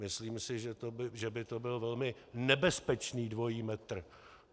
Myslím si, že by to byl velmi nebezpečný dvojí metr.